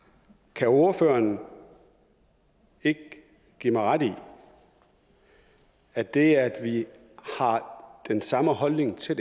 kan ordføreren ikke give mig ret i at det at vi har den samme holdning til